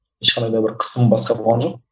ешқандай да бір қысым басқа болған жоқ